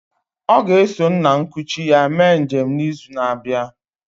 Ọ ga-eso nna nkuchi ya mee njem n'izu na-abịa